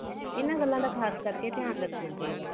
ਇਹਨਾਂ ਗੱਲਾਂ ਦਾ ਖਾਸ ਕਰਕੇ ਧਿਆਨ ਰਖਣਾ ਚਹੀਦਾ